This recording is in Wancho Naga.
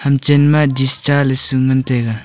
ham chenma dish cha ley su ngantaiga.